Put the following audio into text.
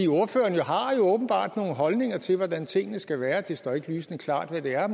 ordføreren har jo åbenbart nogle holdninger til hvordan tingene skal være det står ikke lysende klart hvad de er